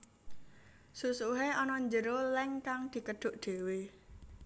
Susuhe ana njero leng kang dikedhuk dhewe